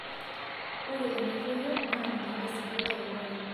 Ore enotoyio NAA ninye esidai teunore